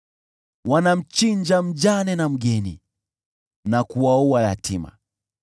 Wanamchinja mjane na mgeni, na kuwaua yatima.